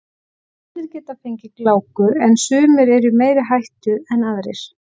Allir geta fengið gláku en sumir eru í meiri hættu en aðrir.